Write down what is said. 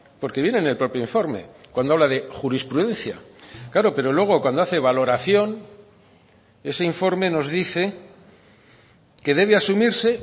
porque viene en el propio informe cuando habla de jurisprudencia claro pero luego cuando hace valoración ese informe nos dice que debe asumirse